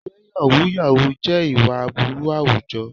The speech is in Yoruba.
Ǹjẹ́ yàhú yàhú jẹ́ ìwà aburú àwùjọ?